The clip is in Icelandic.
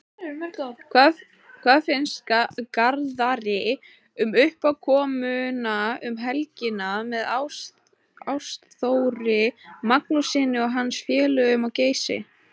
Hvað finnst Garðari um uppákomuna um helgina með Ástþóri Magnússyni og hans félögum á Geysi?